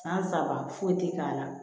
San saba foyi tɛ k'a la